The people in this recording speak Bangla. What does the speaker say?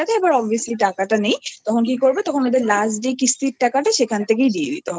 এবার obviously টাকাটা নেই তখন কি করবে তখন ওদের Lastকিস্তির টাকাটা সেখান থেকেই দিয়ে দিতে হয়।